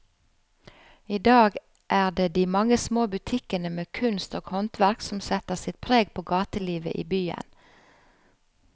I dag er det de mange små butikkene med kunst og håndverk som setter sitt preg på gatelivet i byen.